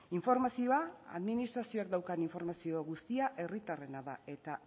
informazioa administrazioak daukan informazio guztia herritarrena da eta